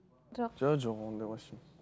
жоқ жоқ ондай вообще